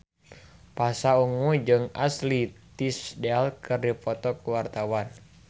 Pasha Ungu jeung Ashley Tisdale keur dipoto ku wartawan